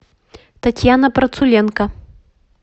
татьяна процуленко